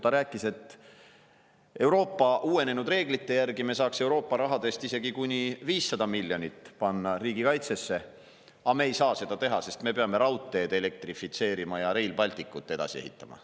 Ta rääkis, et Euroopa uuenenud reeglite järgi me saaksime Euroopa rahast isegi kuni 500 miljonit panna riigikaitsesse, aga me ei saa seda teha, sest me peame raudteed elektrifitseerima ja Rail Balticut edasi ehitama.